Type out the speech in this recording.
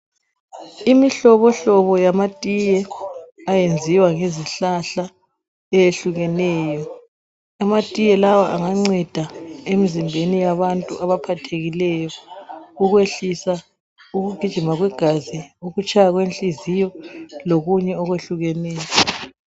Imihlobo hlobo yamatiye ayenziwa ngezihlahla eyehlukeneyo. Amatiye lawa anganceda emzimbeni yabantu abaphathekileyo ukwehlisa ukugijima kwegazi, ukutshaya kwenhliziyo lokunye okwehlukeneyo.